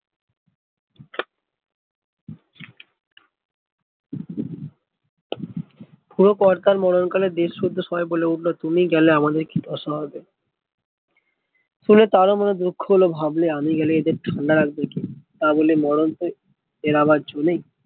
বুড়ো কর্তা মরন কালে দেশ শুদ্ধ সবাই বলে উঠলো তুমি গেলে আমাদের কি দশা হবে শুনে তার ও মনে দুঃখ হলো ভাবলে আমি গেলে এদের ঠান্ডা রাখবে কে তা বলে মরণ তো এড়াবার জো নেই